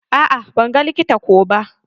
A'a ban ga likita ko ba.